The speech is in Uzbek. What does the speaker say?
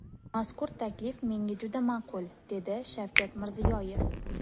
Mazkur taklif menga juda ma’qul”, – dedi Shavkat Mirziyoyev.